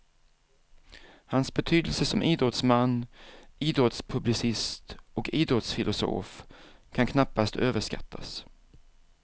Hans betydelse som idrottsman, idrottspublicist och idrottsfilosof kan knappast överskattas.